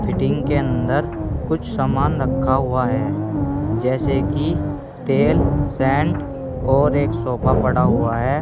Fitting के अंदर कुछ सामान रखा हुआ है जैसे कि तेल सेंड और एक सोफा पड़ा हुआ है।